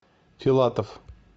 филатов